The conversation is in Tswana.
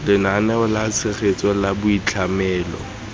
lenaneo la tshegetso la boitlhamelo